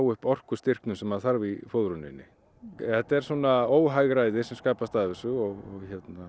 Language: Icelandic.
upp orkustyrknum sem maður þarf í fóðruninni þetta er svona óhagræði sem skapast af þessu og